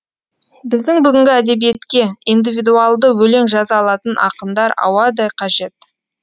біздің бүгінгі әдебиетке индивидуалды өлең жаза алатын ақындар ауадай қажет